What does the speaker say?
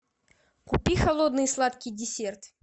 купи холодный сладкий десерт